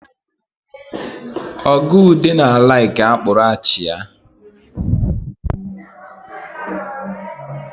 Oga Ude na-alaiki akpụrụ achịa